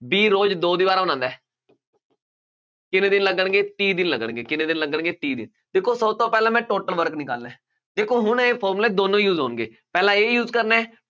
B ਰੋਜ਼ ਦੋ ਦੀਵਾਰਾਂ ਬਣਾਉਂਦਾ, ਕਿੰਨੇ ਦਿਨ ਲੱਗਣਗੇ, ਤੀਹ ਦਿਨ ਲੱਗਣਗੇ, ਕਿੰਨੇ ਦਿਨ ਲੱਗਣਗੇ, ਤੀਹ ਦਿਨ, ਦੇਖੋ ਸਭ ਤੋਂ ਪਹਿਲਾਂ ਮੈਂ total work ਨਿਕਾਲਣਾ ਹੈ, ਦੇਖੋ ਹੁਣ ਇਹ formula ਦੋਨੇ use ਹੋਣਗੇ, ਪਹਿਲਾਂ ਇਹ use ਕਰਨਾ,